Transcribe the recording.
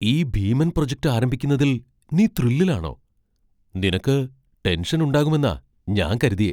ഈ ഭീമൻ പ്രൊജക്റ്റ് ആരംഭിക്കുന്നതിൽ നീ ത്രില്ലിൽ ആണോ? നിനക്ക് ടെൻഷൻ ഉണ്ടാകുമെന്നാ ഞാൻ കരുതിയേ .